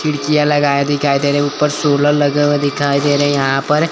खिड़कियां लगाए दिखाई दे रहे हैं उपर सोलर लगे हुए दिखाई दे रहे हैं यहां पर--